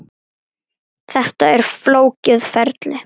Þetta er flókið ferli.